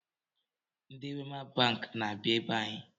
Ndị Wema banki na-abịa ebe anyị